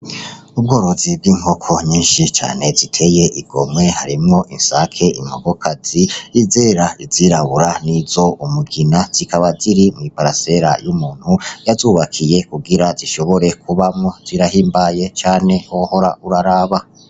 Ubworozi bw'inkoko nyinshi cane ziteye igomwe harimwo isake, inkoko kazi izera n'izirabura nizumugina zikaba ziri mwi parsera y'umuntu yazubakiye kugira zishobore kubamwo zirahimbaye cane wohora uraraba.